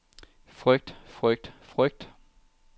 frygt frygt frygt